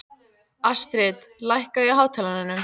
Astrid, lækkaðu í hátalaranum.